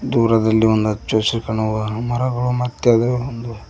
ದೂರದಲ್ಲಿ ಒಂದು ಹಚ್ಚ ಹಸಿ ಕಾಣುವ ಮರಗಳು ಮತ್ತದೆ ಒಂದು--